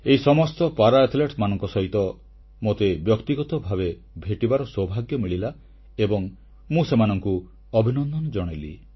ଏହି ସମସ୍ତ ପାରା ଆଥଲେଟଙ୍କ ସହ ମୋତେ ବ୍ୟକ୍ତିଗତ ଭାବେ ଭେଟିବାର ସୌଭାଗ୍ୟ ମିଳିଲା ଏବଂ ମୁଁ ସେମାନଙ୍କୁ ଅଭିନନ୍ଦନ ଜଣାଇଲି